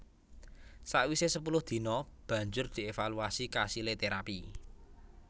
Sawise sepuluh dina banjur dievaluasi kasile terapi